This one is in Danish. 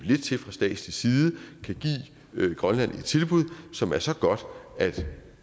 lidt til fra statslig side og give grønland et tilbud som er så godt at